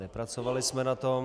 Nepracovali jsme na tom.